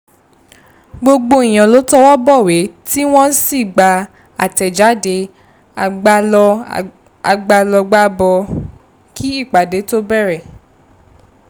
gbogbo èèyàn ló tọwọ́ bọ̀wé tí wọ́n sì gba atẹ̀jáde agbálọgbábọ̀ kí ìpàdé tó bẹ̀rẹ̀